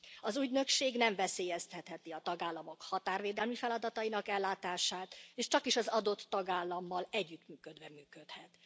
Az ügynökség nem veszélyeztetheti a tagállamok határvédelmi feladatainak ellátását, és csakis az adott tagállammal együttműködve működhet.